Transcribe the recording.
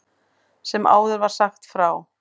Sem áður var sagt frá.